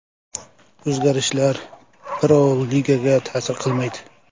O‘zgarishlar Pro-ligaga ta’sir qilmaydi.